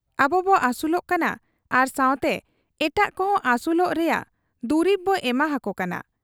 ᱟᱵᱚᱵᱚ ᱟᱹᱥᱩᱞᱚᱜ ᱠᱟᱱᱟ ᱟᱨ ᱥᱟᱶᱛᱮ ᱮᱴᱟᱜ ᱠᱚᱦᱚᱸ ᱟᱹᱥᱩᱞᱚᱜ ᱨᱮᱭᱟᱝ ᱫᱩᱨᱤᱵ ᱵᱚ ᱮᱢᱟᱦᱟᱠᱚ ᱠᱟᱱᱟ ᱾